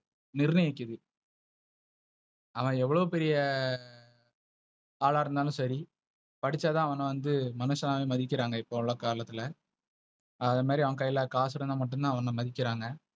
நிர்ணயிக்குது. அவ எவ்ளோ பெரிய ஆலா இருந்தாலு சேரி படிச்சாத அவன வந்து மனுஷனாவே மதிக்குறாங்க இப்போ உள்ள காலத்துல. அது மரி அவங்க கைல காசு இருந்த மட்டுதா மதிக்கிராங்க.